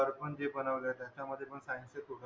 जे बनवलं त्यांच्या मध्ये पण scineces